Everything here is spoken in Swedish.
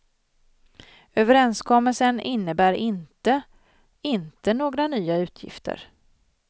Överenskommelsen innebär inte inte några nya utgifter.